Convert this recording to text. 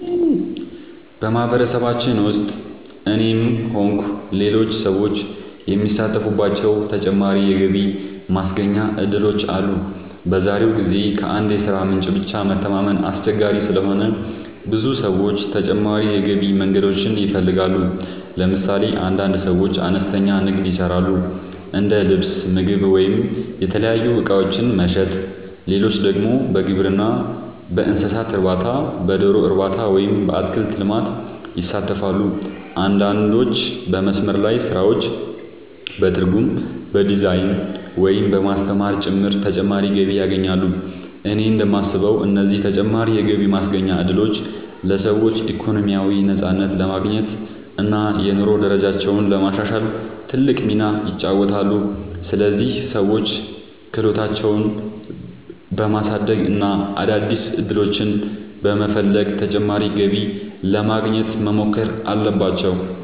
በማህበረሰባችን ውስጥ እኔም ሆንኩ ሌሎች ሰዎች የሚሳተፉባቸው ተጨማሪ የገቢ ማስገኛ እድሎች አሉ። በዛሬው ጊዜ ከአንድ የሥራ ምንጭ ብቻ መተማመን አስቸጋሪ ስለሆነ ብዙ ሰዎች ተጨማሪ የገቢ መንገዶችን ይፈልጋሉ። ለምሳሌ አንዳንድ ሰዎች አነስተኛ ንግድ ይሰራሉ፤ እንደ ልብስ፣ ምግብ ወይም የተለያዩ እቃዎች መሸጥ። ሌሎች ደግሞ በግብርና፣ በእንስሳት እርባታ፣ በዶሮ እርባታ ወይም በአትክልት ልማት ይሳተፋሉ። አንዳንዶች በመስመር ላይ ስራዎች፣ በትርጉም፣ በዲዛይን፣ ወይም በማስተማር ጭምር ተጨማሪ ገቢ ያገኛሉ። እኔ እንደማስበው እነዚህ ተጨማሪ የገቢ ማስገኛ እድሎች ለሰዎች ኢኮኖሚያዊ ነፃነት ለማግኘት እና የኑሮ ደረጃቸውን ለማሻሻል ትልቅ ሚና ይጫወታሉ። ስለዚህ ሰዎች ክህሎታቸውን በማሳደግ እና አዳዲስ ዕድሎችን በመፈለግ ተጨማሪ ገቢ ለማግኘት መሞከር አለባቸው።